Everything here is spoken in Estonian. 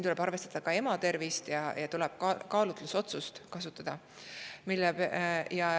Tuleb arvestada ka ema tervisega ja kasutada kaalutlusotsust.